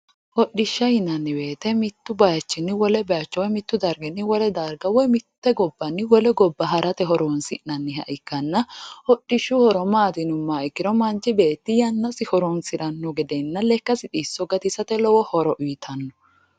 Hodhishsha yinnanni woyte mitu bayichinni wole bayicho woyi mitu darginni wole darga woyi mite gobbanni wole gobba harate horonsi'nanniha ikkanna ,hodhishshu horo maati yinuummoha ikkiro manchi beetti yannasi horonsirano gedenna lekkasi xisso gatisirano gede lowo horo uyittanno.